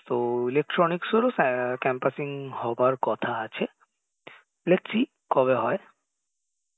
তো electronics এরও আ campusing হবার কথা আছে দেখি কবে হয়